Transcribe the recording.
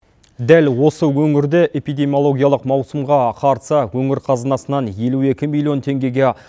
дәл осы өңірде эпидемиологиялық маусымға қарсы өңір қазынасынан елу екі миллион теңгеге